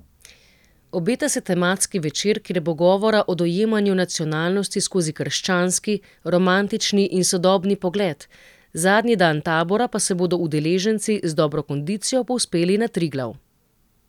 Obeta se tematski večer, kjer bo govora o dojemanju nacionalnosti skozi krščanski, romantični in sodobni pogled, zadnji dan tabora pa se bodo udeleženci z dobro kondicijo povzpeli na Triglav.